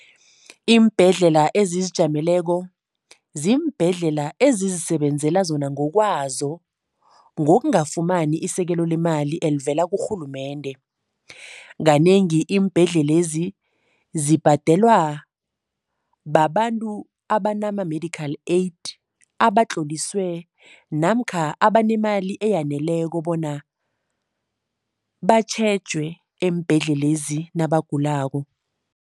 Iimbhedlela ezizijameleko ziimbhedlela ezizisebenzela zona ngokwazo, ngokungafumani isekelo lemali elivela kurhulumende. Kanengi iimbhedlelezi zibhadelwa babantu abanama-medical aid, abatloliswe namkha abanemali eyaneleko bona batjhejwe eembhedlelezi nabagulako.